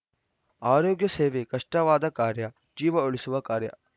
ಆರೋಗ್ಯ ಸೇವೆ ಕಷ್ಟವಾದ ಕಾರ್ಯ ಜೀವ ಉಳಿಸುವ ಕಾರ್ಯ